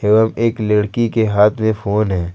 एवं एक लड़की के हाथ में फोन है।